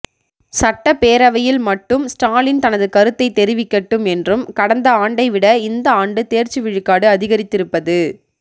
சட்டப்பேரவையில் மட்டும் ஸ்டாலின் தனது கருத்தை தெரிவிக்கட்டும் என்றும் கடந்த ஆண்டை விட இந்த ஆண்டு தேர்ச்சி விழுக்காடு அதிகரித்திருப்பது